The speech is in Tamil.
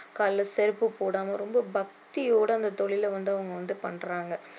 கால்ல செருப்பு போடாம ரொம்ப பக்தியோட அந்த தொழில வந்து அவங்க வந்து பண்றாங்க